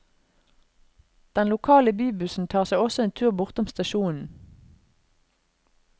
Den lokale bybussen tar seg også en tur bortom stasjonen.